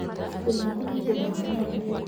Ibuku rĩaku rĩ ĩgũrũ wa metha.